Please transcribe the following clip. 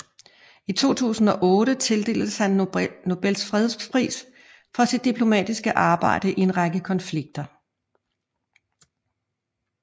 I 2008 tildeltes han Nobels fredspris for sit diplomatiske arbejde i en række konflikter